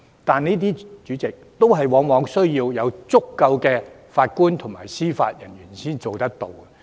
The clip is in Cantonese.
但是，主席，這些措施往往需要足夠的法官和司法人員才可以做到。